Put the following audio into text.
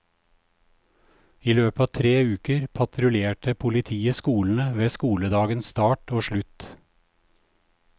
I løpet av tre uker patruljerte politiet skolene ved skoledagens start og slutt.